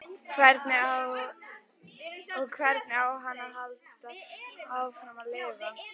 Og hvernig á hann að halda áfram að lifa?